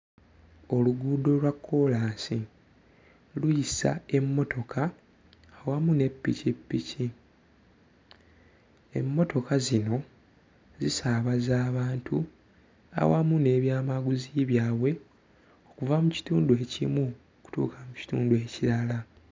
Oluguudo olwa kkolaasi luyisa emmotoka awamu ne ppikipiki. Emmotoka zino zisaabaza abantu awamu n'ebyamaguzi byabwe okuva mu kitundu ekimu okutuuka mu kitundu ekirala.